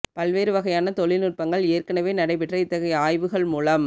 பல்வேறு வகையான தொழில் நுட்பங்கள் ஏற்கனவே நடைபெற்ற இத்தகைய ஆய்வுகள் மூலம்